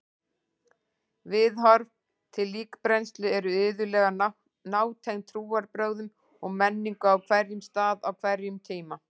Viðhorf til líkbrennslu eru iðulega nátengd trúarbrögðum og menningu á hverjum stað á hverjum tíma.